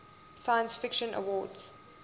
science fiction awards